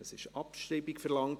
Es wurde Abschreibung verlangt.